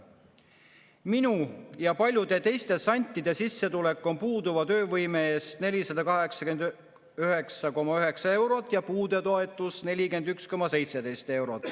Minu ja paljude teiste santide sissetulek on puuduva töövõime eest 489,9 eurot ja puudetoetus 41,17 eurot.